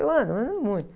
Eu ando, eu ando muito.